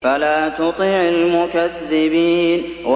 فَلَا تُطِعِ الْمُكَذِّبِينَ